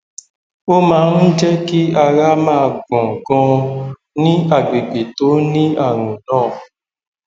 ó máa ń jẹ kí ara máa gbọn ganan ní àgbègbè tó ní ààrùn náà